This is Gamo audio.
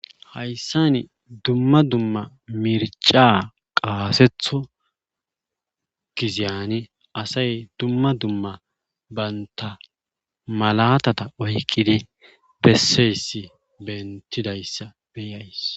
hayssani dumma dumma mirca qaasetho gizeyani asay dumma dumma baynta malatata oyqqidi besseyss bentidayssa beyays